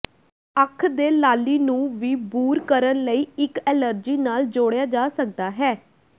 ਅੱਖ ਦੇ ਲਾਲੀ ਨੂੰ ਵੀ ਬੂਰ ਕਰਨ ਲਈ ਇੱਕ ਐਲਰਜੀ ਨਾਲ ਜੋੜਿਆ ਜਾ ਸਕਦਾ ਹੈ